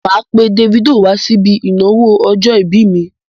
Mà á pe Davido wásíbi ìnáwó ọjọ̀-ìbí mi.